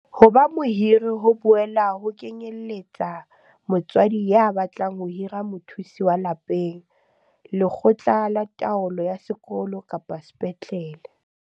Ho ba mohiri ho boela ho kenyeletsa motswadi ya batlang ho hira mothusi wa lapeng, lekgotla la taolo ya sekolo kapa sepetlele.